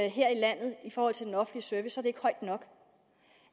her i landet i forhold til den offentlige service ikke højt nok